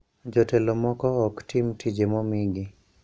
Jotelo moko ok tim tije momigi.